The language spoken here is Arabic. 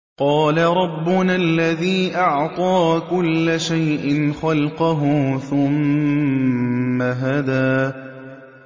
قَالَ رَبُّنَا الَّذِي أَعْطَىٰ كُلَّ شَيْءٍ خَلْقَهُ ثُمَّ هَدَىٰ